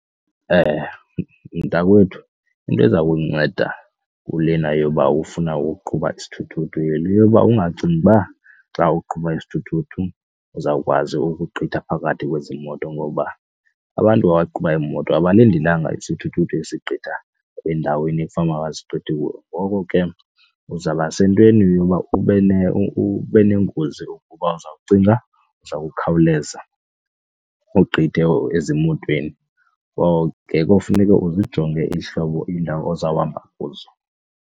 Mntakwethu, into eza kunceda kulena yoba ufuna uqhuba isithuthuthu yile yoba ungacingi uba xa uqhuba isithuthuthu uzawukwazi ukugqitha phakathi kwezi moto ngoba abantu abaqhuba iimoto abalindelanga isithuthuthu ezigqitha endaweni efanuba ayazigqithi kuyo. Ngoko ke uzawuba sentweni yoba ube neengozi ukuba uza kucinga uzawukhawuleza ugqithe ezimotweni ngoku ke kufuneke uzijonge ihlobo iindawo ozawuhamba kuzo.